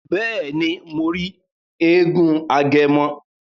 Bẹẹni, Mo ri èègún Agẹmọ